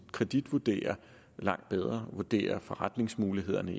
kreditvurdere og langt bedre vurdere forretningsmulighederne